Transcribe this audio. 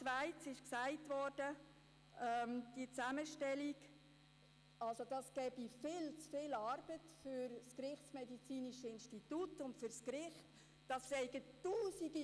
Zweitens wurde gesagt, diese Zusammenstellung würde dem Institut für Rechtsmedizin (IRM) und dem Gericht viel zu viel Arbeit bereiten.